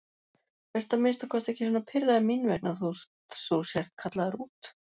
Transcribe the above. Vertu að minnsta kosti ekki svona pirraður mín vegna þótt þú sért kallaður út.